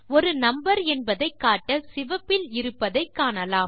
ஒரு நம்பர் என்பதை காட்ட சிவப்பில் இருப்பதை காணலாம்